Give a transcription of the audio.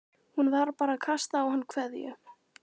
Hún var bara að kasta á hann kveðju.